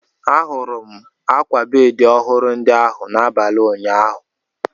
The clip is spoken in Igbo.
Ahụrụ m ákwà bedi ọhụrụ ndi ahụ n'abalị ụnyaahụ.